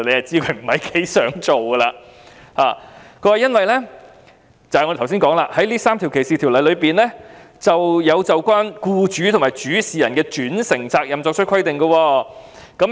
政府所說的原因是，這3項反歧視條例"就有關僱主和主事人的轉承責任作出規定。